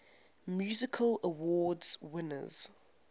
music awards winners